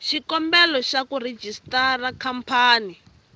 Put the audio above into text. xikombelo xa ku rejistara khampani